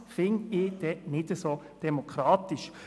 Das fände ich dann nicht so demokratisch.